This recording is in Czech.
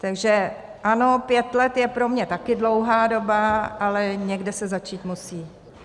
Takže ano, pět let je pro mě také dlouhá doba, ale někde se začít musí.